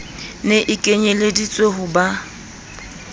ne e kenyelleditswe ho ba